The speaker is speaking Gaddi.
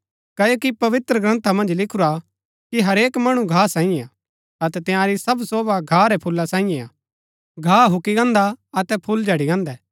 क्ओकि पवित्रग्रन्था मन्ज लिखुरा कि हरेक मणु घा सांईये हा अतै तंयारी सब शोभा घा रै फूला सांईये हा घा हूक्की गान्दा अतै फूल झड़ी गान्दै